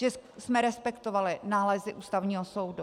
Že jsme respektovali nálezy Ústavního soudu.